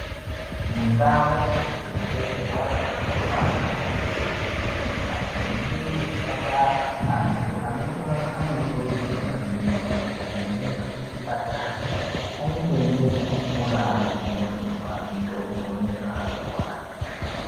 Mundau dzekubetsera vantu vanorwara mumakiriniki nemuzvipatara antu anorwara anokurudzirwa maningi kuti kana echienda kuchipatara aende nebhuku raanozonyorerwa mutombo nezvaarikurwara ndizvo .